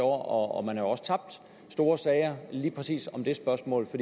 og man har også tabt store sager lige præcis om det spørgsmål for